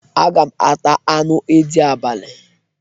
Aga m ata anụ edị abalị.